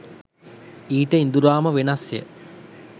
ඊට ඉඳුරාම වෙනස්ය